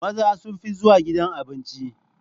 Maza sun fi zuwa gidan Abinci